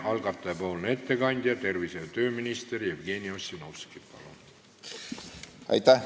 Algatajate ettekandja tervise- ja tööminister Jevgeni Ossinovski, palun!